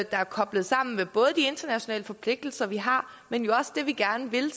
er koblet sammen med både de internationale forpligtelser vi har men også det vi gerne vil